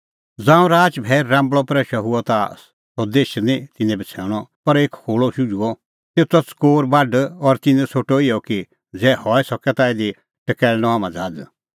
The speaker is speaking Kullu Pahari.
ज़ांऊं राच भैई राम्बल़अ प्रैशअ हुअ ता सह देश निं तिन्नैं बछ़ैणअ पर एक खोहल़ शुझुई तेतो त च़कोर बाढ और तिन्नैं सोठअ इहअ कि ज़ै हई सके ता इधी टकैल़णअ हाम्हां ज़हाज़